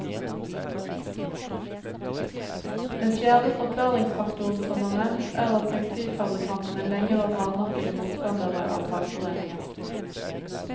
Den fjerde forklaringsfaktoren som er nevnt, er at tekstilfabrikantene lenge var hardnakkede motstandere av fagforeninger.